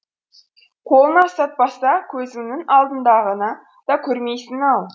қолыңа ұстатпаса көзіңнің алдындағыны да көрмейсің ау